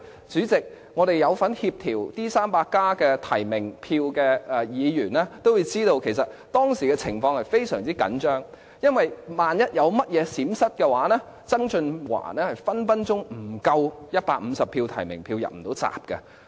主席，我們有份協調"民主 300+" 提名票的議員都知道，其實當時的情況是非常緊張。因為一旦有任何閃失，曾俊華很可能取不足150張提名票，不能"入閘"。